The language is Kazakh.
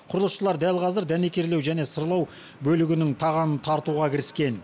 құрылысшылар дәл қазір дәнекерлеу және сырлау бөлігінің тағанын тартуға кіріскен